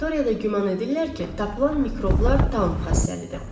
Laboratoriyada güman edirlər ki, tapılan mikroblar Taun xəstəlidir.